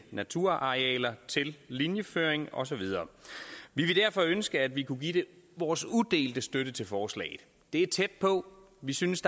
naturarealer til linjeføring og så videre vi ville derfor ønske at vi kunne give vores udelte støtte til forslaget det er tæt på vi synes